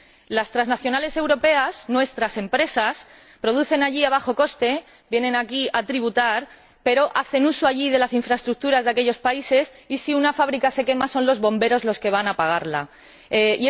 Las transnacionales europeas, nuestras empresas, producen allí a bajo coste y vienen aquí a tributar, pero hacen uso, allí, de las infraestructuras de aquellos países y, si una fábrica se quema, son los bomberos quienes van a apagar el incendio.